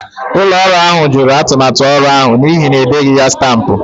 Ụlọ ọrụ ahụ jụrụ atụmatụ ọrụ ahụ n'ihi na e deghị ya stampụ.